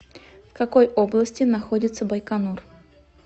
в какой области находится байконур